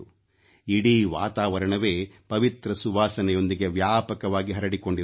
ಇಡೀ ವಾತಾವರಣವೇ ಪವಿತ್ರ ಸುವಾಸನೆಯೊಂದಿಗೆ ವ್ಯಾಪಕವಾಗಿ ಹರಡಿಕೊಂಡಿರುತ್ತದೆ